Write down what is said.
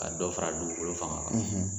Ka dɔ fara dugukolo fanga kan